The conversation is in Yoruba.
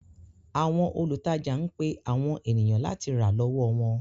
Àwọn olùtajà ń pe àwọn ènìyàn láti rà lọ́wọ́ wọn.